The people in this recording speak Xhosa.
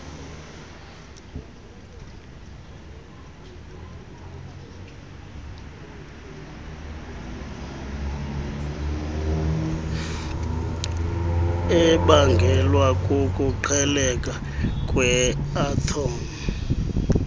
ebangelwa kukuqhekeka kweathom